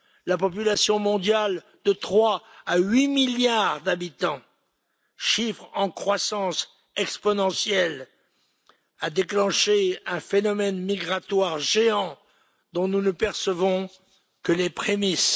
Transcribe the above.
la population mondiale de 3 à 8 milliards d'habitants, chiffre en croissance exponentielle, a déclenché un phénomène migratoire géant dont nous ne percevons que les prémices.